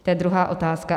To je druhá otázka.